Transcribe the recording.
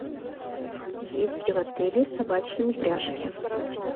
есть ли в отеле собачьи упряжки